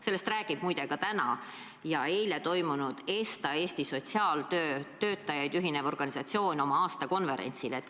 Sellest räägib muide ka ESTA, Eesti sotsiaaltöö töötajaid ühendav organisatsioon oma täna ja eile toimunud aastakonverentsil.